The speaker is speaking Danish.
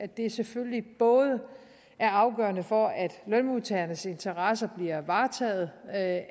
det selvfølgelig både er afgørende for at lønmodtagernes interesser bliver varetaget at